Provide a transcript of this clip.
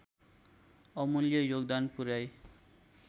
अमूल्य योगदान पुर्‍याई